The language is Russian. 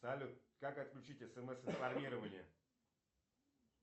салют как отключить смс информирование